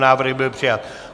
Návrh byl přijat.